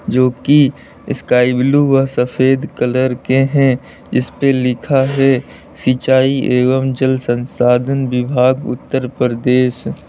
जो की sky blue व सफेद कलर के हैं इस पर लिखा है सिंचाई एवं जल संसाधन विभाग उत्तर प्रदेश।